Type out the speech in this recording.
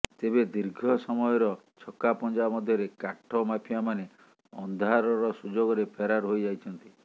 ତେବେ ଦୀର୍ଘ ସମୟର ଛକାପଞ୍ଝା ମଧ୍ୟରେ କାଠ ମାଫିଆମାନେ ଅନ୍ଧାରର ସୁଯୋଗରେ ଫେରାର ହୋଇଯାଇଛନ୍ତି